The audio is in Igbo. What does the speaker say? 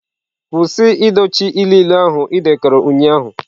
Kwụsị dochie ilu ilu ahụ ị dekọrọ ụnyahụ!.